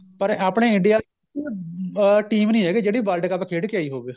ਪਰ ਆਪਣੇ India ਅਹ team ਨੀ ਹੈਗੀ ਜਿਹੜੀ world cup ਖੇਡ ਕੇ ਆਈ ਹੋਵੇ